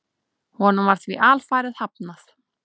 Honum var því alfarið hafnað.